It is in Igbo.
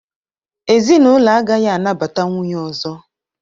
Ezinụlọ agaghị anabata nwunye ọzọ